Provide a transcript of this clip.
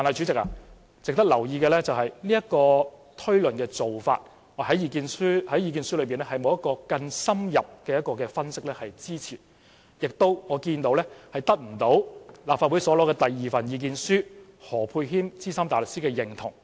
值得留意的是，這個類推的做法在意見書中並沒有更深入的分析支持，也得不到立法會所獲得的第二份意見書何沛謙資深大律師的認同。